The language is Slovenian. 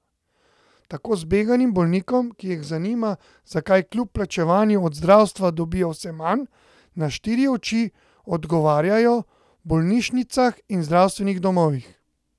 Tako zbeganim bolnikom, ki jih zanima, zakaj kljub plačevanju od zdravstva dobijo vse manj, na štiri oči odgovarjajo v bolnišnicah in zdravstvenih domovih.